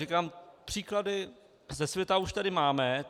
Říkám, příklady ze světa už tady máme.